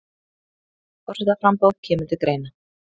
Forsetaframboð kemur til greina